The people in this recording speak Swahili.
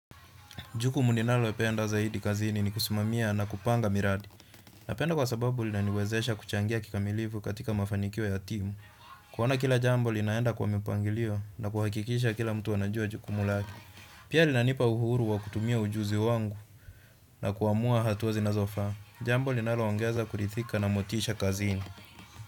Jukumu ninalo penda zaidi kazini ni kusimamia na kupanga miradi. Napenda kwa sababu linaniwezesha kuchangia kikamilifu katika mafanikio ya timu. Kuona kila jambo linaenda kwa mipangilio na kuhakikisha kila mtu anajua jukumu lake. Pia lina nipa uhuru wa kutumia ujuzi wangu na kuamua hatuwa zinazofaa. Jambo linalo ongeza kurithika na motisha kazini.